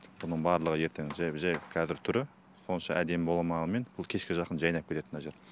мұның барлығы ертең жай жай қазір түрі онша әдемі болмағанмен кешке жақын жайнап кетеді мына жер